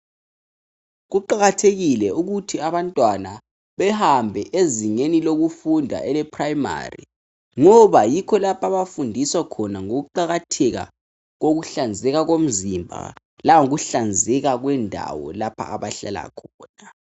Kuqakathekile ukuthi abantwana behambe ezingeni lokufunda eleprimary. Ngoba yikho lapho abafundiswa ngokuqakatheka komzimba langokuhlanzeka kwendawo lapha abahlala khona.